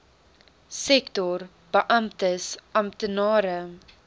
sektor beamptes amptenare